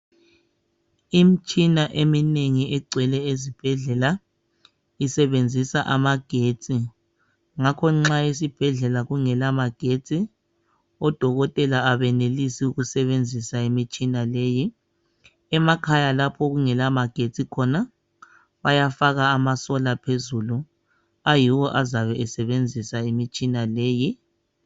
Imitshina eminengi egcwele ezibhedlela isebenzisa amagetsi ngakho nxa esibhedlela kungela magetsi odokotela abenelisi ukusebenzisa imitshina leyi. Emakhaya lapho okungela magetsi khona bayafaka amaSolar phezulu ayiwo azabe esebenzisa imitshina leyi.